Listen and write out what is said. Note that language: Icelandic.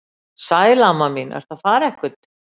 Sæl amma mín, ertu að fara eitthvað?